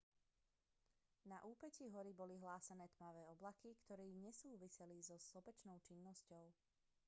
na úpätí hory boli hlásené tmavé oblaky ktoré nesúviseli so sopečnou činnosťou